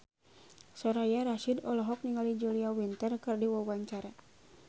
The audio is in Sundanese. Soraya Rasyid olohok ningali Julia Winter keur diwawancara